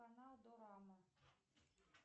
канал дорама